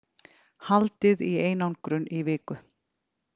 Haldið í einangrun í viku